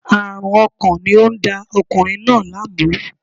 Aarun ọkàn ni o n da ọkunrin naa laamu